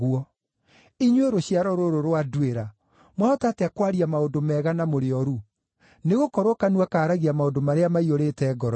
Inyuĩ rũciaro rũrũ rwa nduĩra, mwahota atĩa kwaria maũndũ mega, na mũrĩ ooru? Nĩgũkorwo kanua kaaragia maũndũ marĩa maiyũrĩte ngoro-inĩ.